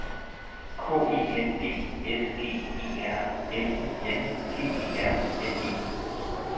K E N D S G E R N I N G E R N E